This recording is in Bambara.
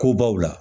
Kobaw la